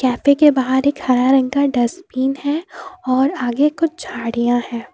के बाहर एक हरा रंग का डस्टबीन है और आगे कुछ झाड़ियां हैं।